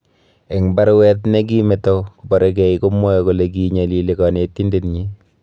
Eng baruet ne gi meto kobaregei, komwae kole kiinyalili kanetindetnyi